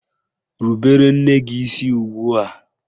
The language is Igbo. Rubere nne gị isi ugbua!